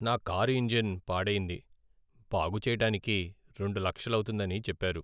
నా car engine పాడయింది, బాగు చెయ్యటానికి రెండు లక్షలౌతుందని చెప్పారు.